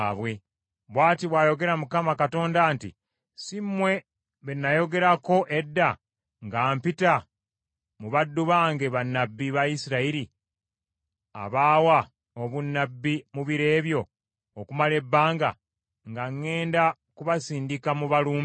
“ ‘Bw’ati bw’ayogera Mukama Katonda nti, Si mmwe be nayogerako edda nga mpita mu baddu bange bannabbi ba Isirayiri, abaawa obunnabbi mu biro ebyo okumala ebbanga, nga ŋŋenda kubasindika mubalumbe?